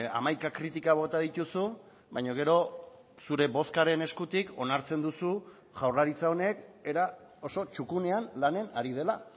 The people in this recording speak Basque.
hamaika kritika bota dituzu baina gero zure bozkaren eskutik onartzen duzu jaurlaritza honek era oso txukunean lanen ari dela